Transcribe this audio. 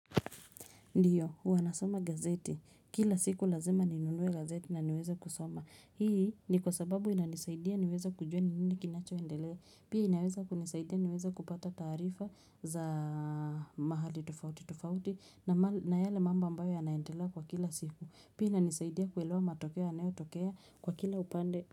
Ndiyo, huwa nasoma gazeti. Kila siku lazima ninunue gazeti na niweze kusoma. Hii ni kwa sababu inanisaidia niweze kujua ni nini kinachoendelea. Pia inaweza kunisaidia niweza kupata taarifa za mahali tufauti tofauti na yale mambo ambayo yanaendela kwa kila siku. Pia inanisaidia kuelewa matokea yanayotokea kwa kila upande.